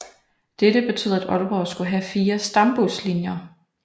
Dette betød at Aalborg skulle have 4 Stambuslinjer